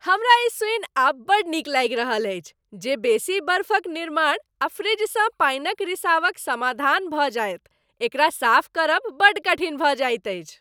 हमरा ई सूनि आब बड़ नीक लागि रहल अछि जे बड़ बेसी बर्फक निर्माण आ फ्रिजसँ पानिक रिसावक समाधान भऽ जायत, एकरा साफ करब बड़ कठिन भऽ जाइत अछि।